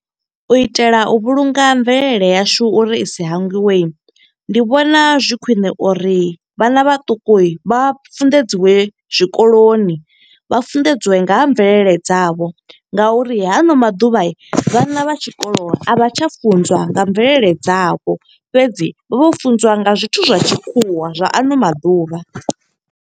U itela u vhulunga mvelele yashu uri i sa hangwiwe. Ndi vhona zwi khwiṋe uri vhana vhaṱuku vha funḓedziwe zwikoloni. Vha funḓedziwe nga ha mvelele dzavho, nga uri ha ano maḓuvha, vhana vha tshikolo a vha tsha funzwa nga mvelele dzavho. Fhedzi, vho funziwa nga zwithu zwa tshikhuwa zwa ano maḓuvha.